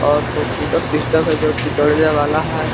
और कोर्ई कीटो सिस्टम है जो कि दौड़ने वाला है।